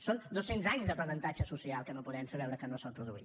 són dos cents anys d’aprenentatge social que no podem fer veure que no s’ha produït